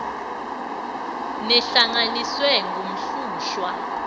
neh langanisiwe kumhlushwa